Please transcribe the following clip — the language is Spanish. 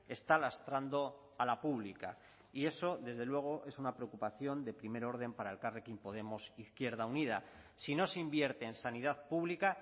está lastrando a la pública y eso desde luego es una preocupación de primer orden para elkarrekin podemos izquierda unida si no se invierte en sanidad pública